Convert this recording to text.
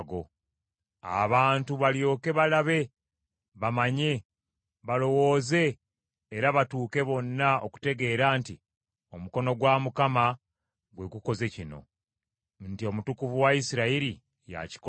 Abantu balyoke balabe bamanye, balowooze era batuuke bonna okutegeera nti omukono gwa Mukama gwe gukoze kino, nti Omutukuvu wa Isirayiri yakikoze.”